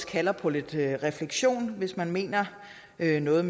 kalder på lidt refleksion hvis nato mener noget